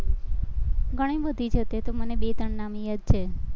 ઘણી બધી છે, અત્યારે તો મને બે ત્રણ નામ યાદ છે.